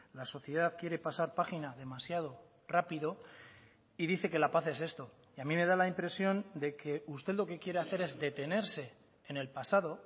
la sociedad quiere pasar página demasiado rápido y dice que la paz es esto y a mí me da la impresión de que usted lo que quiere hacer es detenerse en el pasado